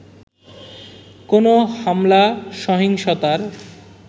কোনো হামলা-সহিংসতার